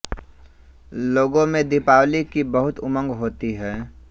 लोगों में दीपावली की बहुत उमंग होती है